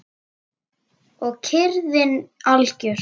Og kyrrðin algjör.